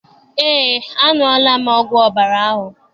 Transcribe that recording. Eé, aṅụọla m ọgwụ ọbara ahụ.